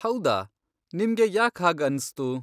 ಹೌದಾ, ನಿಮ್ಗೆ ಯಾಕ್ ಹಾಗ್ ಅನ್ಸ್ತು?